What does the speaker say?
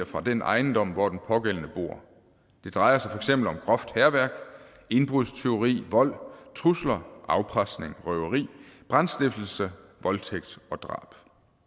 fra den ejendom hvor den pågældende bor det drejer sig eksempel om groft hærværk indbrudstyveri vold trusler afpresning røveri brandstiftelse voldtægt og drab